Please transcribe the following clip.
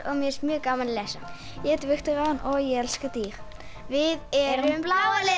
mér finnst mjög gaman að lesa ég heiti Viktoría og ég elska dýr við erum bláa liðið